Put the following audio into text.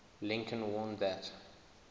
lincoln warned that